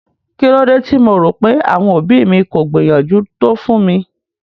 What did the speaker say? Kílódé tí mo rò pé àwọn òbí mi kò gbìyànjú tó fún mi?